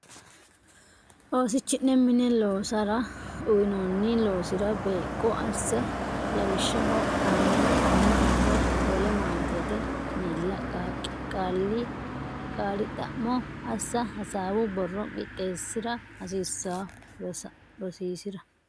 Oosichi ne mine loosara uynoonni loosira beeqqo asse lawishshaho anna ama woy wole maatete miilla qaali xa mo assa hasaawu borro qixxeessi ra hasaawa rosiisi ra.